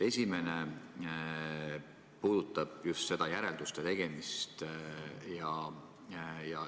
Esimene puudutab just järelduste tegemist.